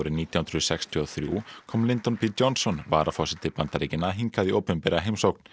nítján hundruð sextíu og þrjú kom b Johnson varaforseti Bandaríkjanna hingað í opinbera heimsókn